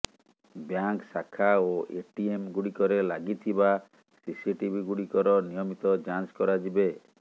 bank ଶାଖା ଓ ATM ଗୁଡିକରେ ଲାଗିଥିବା ସିସିଟିଭି ଗୁଡିକର ନିୟମିତ ଯାଞ୍ଚ କରାଯିବେ